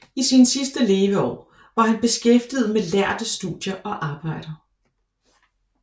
I sine sidste leveår var han beskæftiget med lærde studier og arbejder